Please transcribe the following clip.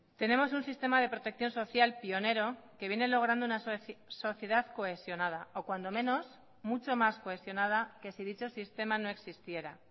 tenemos un sistema de protección social pionero que viene logrando una sociedad cohesionada o cuando menos mucho más cohesionada que si dicho sistema no existiera